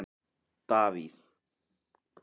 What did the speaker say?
Davíð